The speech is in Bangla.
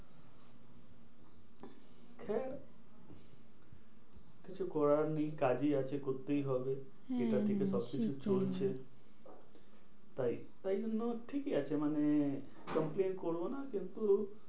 হ্যাঁ কিছু করার নেই কাজই আছে করতেই হবে। হ্যাঁ হ্যাঁ এটা থেকে সবকিছু হ্যাঁ চলছে। তাই তাই জন্য ঠিকই আছে মানে complain করবো না কিন্তু